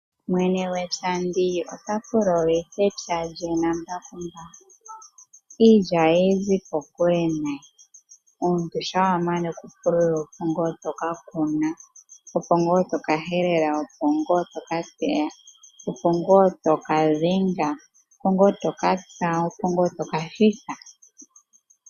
Mwene gwepya ota pululitha epya lye nambakumbaku. Iilya ohayi zi kokule nayi. Omuntu shampa wa mana okupululilwa, opo ngaa toka kuna, opo ngaa to ka helela, opo ngaa to kateya, opo ngaa to ka dhenga, opo ngaa to ka tsa, opo ngaa to ka thitha.